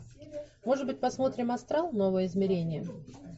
может быть посмотрим астрал новое измерение